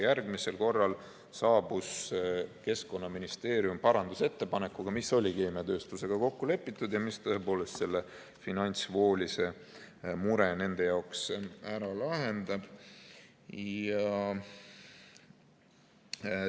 Järgmisel korral saabus Keskkonnaministeerium parandusettepanekuga, mis oli keemiatööstusega kokku lepitud ja mis tõepoolest selle finantsvoolise mure nende jaoks ära lahendab.